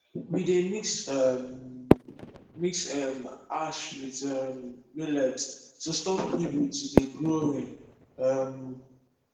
we dey mix um mix um ash with um millet to stop weevil to dey growing um